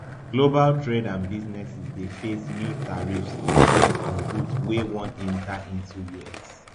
global trade and businesses dey face new tariffs rate on goods wey wan enta into us